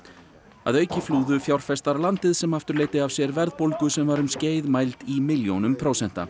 að auki flúðu fjárfestar landið sem aftur leiddi af sér verðbólgu sem var um skeið mæld í milljónum prósenta